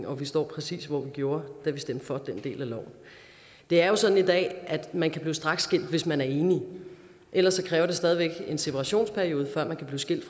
og vi står præcis hvor vi gjorde da vi stemte for den del af loven det er jo sådan i dag at man kan blive straksskilt hvis man er enige ellers kræver det stadig væk en separationsperiode før man kan blive skilt